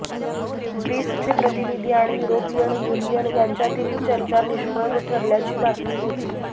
Greece चे प्रतिनिधी आणि युरोपियन युनियन यांच्यातिल चर्चा निष्फ़ळ ठरल्याची बातमी होती